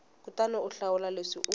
kutani u hlawula leswi u